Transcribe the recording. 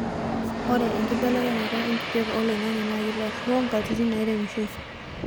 ore enkibelekeny enkijape oloingangi naa keitaroo nkatitin naaremishoi